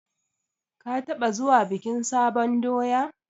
Ka taɓa zuwa bikin sabon doya?